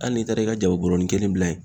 Hali n'i taara i ka jaba bɔrɔnin kelen bila yen